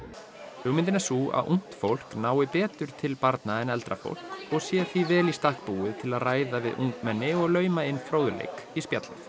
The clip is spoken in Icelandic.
hugmyndin er sú að ungt fólk nái betur til barna en eldra fólk og sé því vel í stakk búið til að ræða við ungmenni og lauma inn fróðleik í spjallið